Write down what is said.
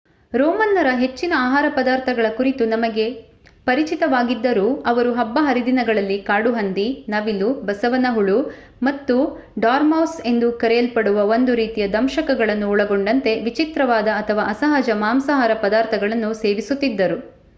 ರೋಮನ್ನರ ಹೆಚ್ಚಿನ ಆಹಾರ ಪದಾರ್ಥಗಳ ಕುರಿತು ನಮಗೆ ಪರಿಚಿತವಾಗಿದ್ದರೂ ಅವರು ಹಬ್ಬ ಹರಿದಿನಗಳಲ್ಲಿ ಕಾಡುಹಂದಿ ನವಿಲು ಬಸವನ ಹುಳು ಮತ್ತು ಡಾರ್ಮೌಸ್ ಎಂದು ಕರೆಯಲ್ಪಡುವ ಒಂದು ರೀತಿಯ ದಂಶಕಗಳನ್ನು ಒಳಗೊಂಡಂತೆ ವಿಚಿತ್ರವಾದ ಅಥವಾ ಅಸಹಜ ಮಾಂಸಾಹಾರ ಪದಾರ್ಥಗಳನ್ನು ಸೇವಿಸುತ್ತಿದ್ದರು